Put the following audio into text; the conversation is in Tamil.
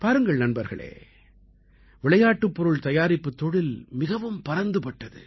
பாருங்கள் நண்பர்களே விளையாட்டுப் பொருள் தயாரிப்புத் தொழில் மிகவும் பரந்து பட்டது